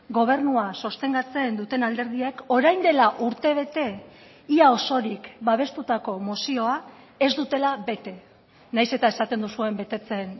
gobernua sostengatzen duten alderdiek orain dela urtebete ia osorik babestutako mozioa ez dutela bete nahiz eta esaten duzuen betetzen